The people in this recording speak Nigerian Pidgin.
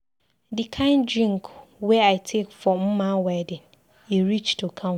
The kin drink wey I take for Mma wedding, e reach to count.